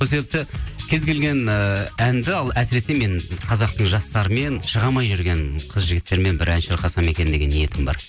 сол себепті кез келген ыыы әнді ал әсіресе мен қазақтың жастарымен шыға алмай жүрген қыз жігіттермен бір ән шырқасам екен деген ниетім бар